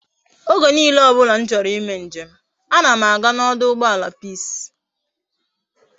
Oge niile obula m choro i me njem a na m aga na oduugboala peace